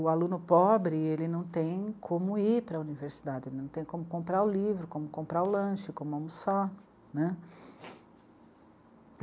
O aluno pobre, ele não tem como ir para a universidade, não tem como comprar o livro, como comprar o lanche, como almoçar, né.